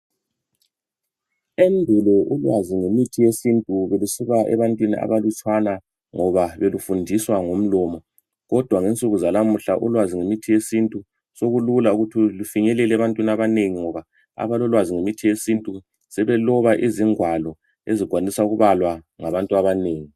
Endulo ulwazi ngemithi yesintu belusiba ebantwini abanlutshwana ngoba belufundiswa ngomlomo kodwa ensukwini zanamuhla ulwazi lwemithi yesintu sokulula ukuthi lufinyelele ebantwini abanengi ngoba abalolwazi ngemithi yesintu sebeloba ingwalo ezikwanisa ukubalwa ngabantu abanengi